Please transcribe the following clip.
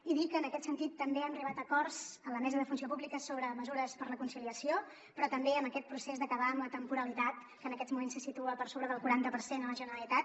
i dir que en aquest sentit també hem arribat a acords a la mesa de la funció pública sobre mesures per a la conciliació però també en aquest procés d’acabar amb la temporalitat que en aquests moments se situa per sobre del quaranta per cent a la generalitat